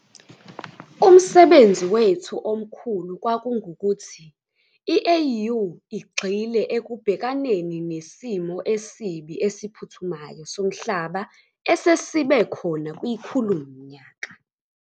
Umsebenzi wethu omkhulu kwakungukuthi i-AU igxile ekubhekaneni nesimo esibi esiphuthumayo somhlaba esesibe khona kwikhulumnyaka.